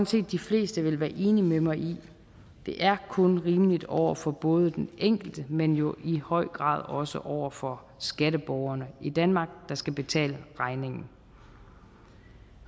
set de fleste vil være enige med mig i det er kun rimeligt over for både den enkelte men jo i høj grad også over for skatteborgerne i danmark der skal betale regningen